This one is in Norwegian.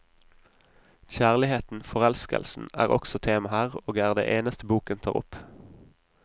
Kjærligheten, forelskelsen, er også tema her, og er det eneste boken tar opp.